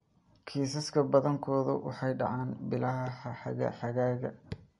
Kiisaska badankoodu waxay dhacaan bilaha xagaaga.